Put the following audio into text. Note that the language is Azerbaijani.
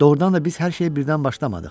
Doğurdan da biz hər şeyə birdən başlamadıq.